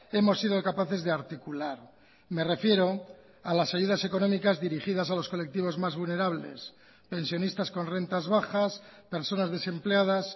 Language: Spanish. hemos sido capaces de articular me refiero a las ayudas económicas dirigidas a los colectivos más vulnerables pensionistas con rentas bajas personas desempleadas